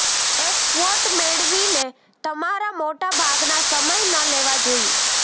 એક ક્વોટ મેળવીને તમારા મોટાભાગના સમય ન લેવા જોઈએ